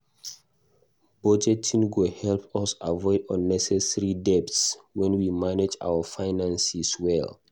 Budgeting go help us avoid unnecessary debts when we manage our finances well.